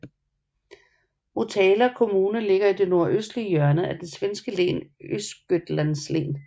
Motala kommune ligger i det nordøstlige hjørne af det svenske län Östergötlands län